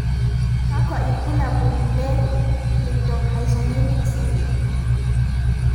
kakwa ibulaul 2 Cleidorhizomelic syndrome.